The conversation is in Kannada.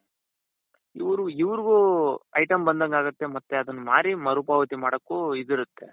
ಇವ್ರು ಇವ್ರುಗು item ಬಂದಂಗಾಗುತ್ತೆ ಮತ್ತೆ ಅದನ್ನ ಮಾರಿ ಮರು ಪಾವತಿ ಮಾಡಕ್ಕೂ ಇದಿರುತ್ತೆ.